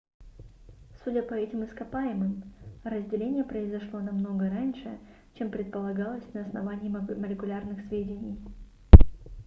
судя по этим ископаемым разделение произошло намного раньше чем предполагалось на основании молекулярных сведений